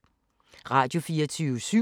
Radio24syv